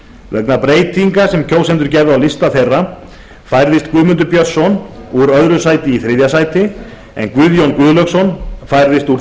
vegna breytinga sem kjósendur gerðu á lista þeirra færðist guðmundur björnsson úr öðru sæti í þriðja sæti en guðjón guðlaugsson færðist úr